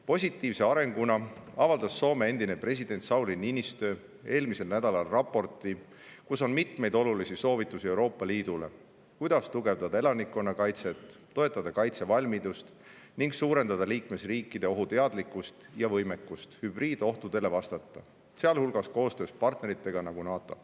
Positiivse arenguna avaldas Soome endine president Sauli Niinistö eelmisel nädalal raporti, kus on mitmeid olulisi soovitusi Euroopa Liidule, kuidas tugevdada elanikkonnakaitset, toetada kaitsevalmidust ning suurendada liikmesriikide ohuteadlikkust ja võimekust hübriidohtudele vastata, sealhulgas koostöös selliste partneritega nagu NATO.